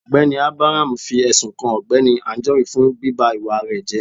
Ọgbẹni Abraham fi ẹsún kàn Ọgbẹni Anjorin fún bíbá ìwà rẹ jẹ